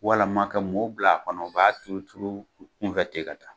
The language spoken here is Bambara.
Walima kɛ mɔɔw bila kɔnɔ, b'a turu turu u kunfɛ ten ka taa.